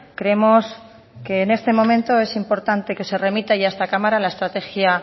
creemos que en este momento es importante que se remita ya a esta cámara la estrategia